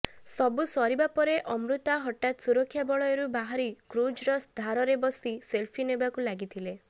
ସବୁ ସରିବା ପରେ ଅମୃତା ହଠାତ୍ ସୁରକ୍ଷା ବଳୟରୁ ବାହାରି କ୍ରୁଜର ଧାରରେ ବସି ସେଲଫି ନେବାକୁ ଲାଗିଥିଲେ